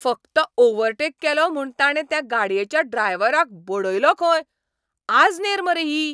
फकत ओव्हरटेक केलो म्हूण ताणे त्या गाडयेच्या ड्रायव्हराक बडयलो खंय. आजनेर मरे ही!